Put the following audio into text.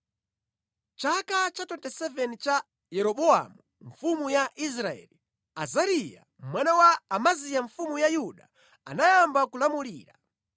Mʼchaka cha 27 cha Yeroboamu mfumu ya Israeli, Azariya mwana wa Amaziya mfumu ya Yuda anayamba kulamulira.